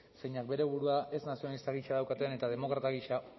zeinek bere burua ez nazionalista gisa daukaten eta demokrata gisa